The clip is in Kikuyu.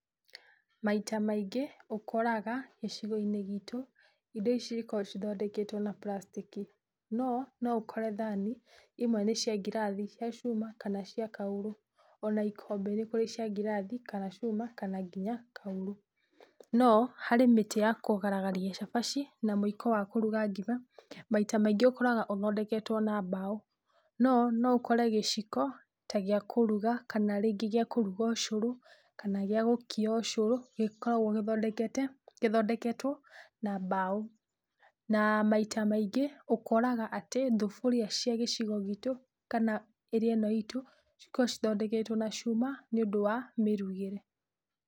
Maita maingĩ ũkoraga gĩcigo-inĩ gitũ indo ici cikoragwo ithondeketwo na plastic. No noũkore thani imwe nĩ cia ngirathi cia cuma kana cia kaurũ, ona ikombe nĩ kũri cia ngirathi kana cuma kana nginya kaurũ. No harĩ mĩtĩ ya kũgaragaria cabaci na muiko wa kũruga ngima maita maingĩ ũkoraga ũthondeketwo na mbaũ. No noũkore gĩciko ta gĩa kũruga kana rĩngĩ gĩa kũruga ũcũrũ kana gĩa gũkia ũcurũ gĩkoragwo gĩthondeketwo na mbaũ. Na maita maingĩ ũkoraga thuburia cia gĩcigo gitũ kana area ĩno itũ, cikoragwo cithondeketwo na cuma nĩ ũndũ wa mĩrugĩre.